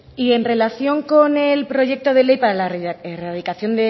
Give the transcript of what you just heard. y en relación con el proyecto de ley para la erradicación